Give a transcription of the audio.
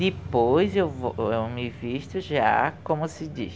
Depois eu vou eu me visto já como se diz.